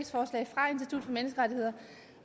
og for menneskerettigheder